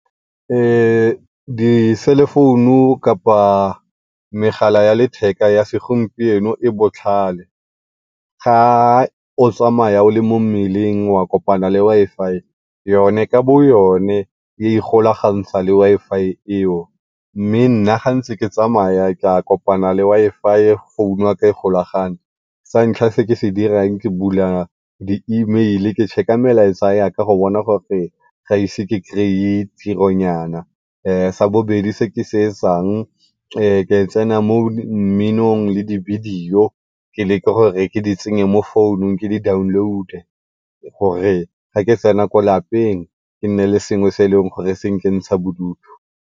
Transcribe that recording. di-cellphone-u kapa megala ya letheka ya segompieno e botlhale, ga o tsamaya o le mo wa kopana le Wi-Fi yone ka bo yona e igolagantsha le Wi-Fi eo. Mme nna ga ntse ke tsamaya ka kopana le Wi-Fi phone-u ya ka e golagane, santlha se ke se dirang ke bula di email-i ke check-a melaetsa yaka go bona gore ga ise ke kry-e tiro nyana. sa bobedi se ke se etsang ke tsena mo mminong le dibidio ke leke gore ke di tsenye mo phone-ung ke di download-e gore ga ke tsena ko lapeng ke nne le selo se e leng gore se nkentsha bodutu.